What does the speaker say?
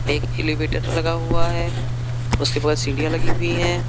एक एलिवेटर लगा हुआ है उसके बगल सीढ़ियां लगी हुई है।